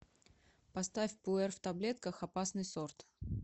поставь пуэр в таблетках опасный сорт